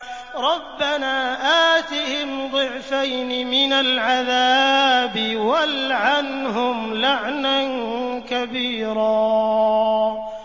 رَبَّنَا آتِهِمْ ضِعْفَيْنِ مِنَ الْعَذَابِ وَالْعَنْهُمْ لَعْنًا كَبِيرًا